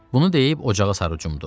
Bunu deyib ocağa sarı cumdu.